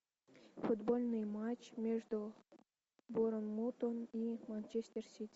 футбольный матч между борнмутом и манчестер сити